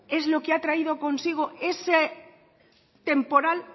es lo qué ha traído consigo esa temporal